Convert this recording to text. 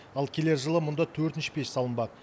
ал келер жылы мұнда төртінші пеш салынбақ